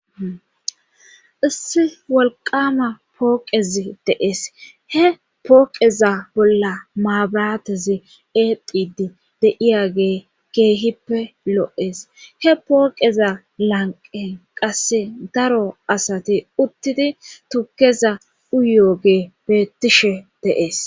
issi wolqama pooqezi deees he pooqeza bolla maabiratezi eedidi de7iyage geehippe lo7ees he pooqeza lanqen qasse daro asati uttidi tukeza uyooge beettishe deees